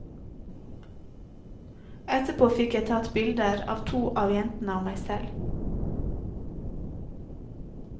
Etterpå fikk jeg tatt bilder av to av jentene og meg selv.